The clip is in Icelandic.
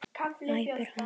æpir hann.